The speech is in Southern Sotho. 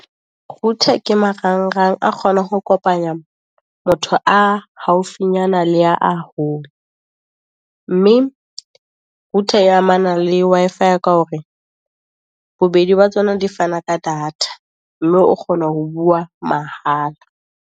Router ke marang-rang a kgona ho kopanya motho a haufinyana le a hole, mme router e amana le Wi-Fi, ka hore bobedi ba tsona di fana ka data. Mme o kgona ho bua mahala.